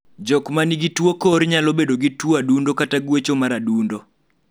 jok mangin tuo kor nyalo bedo gi tuo adundo kata gwecho mar adundo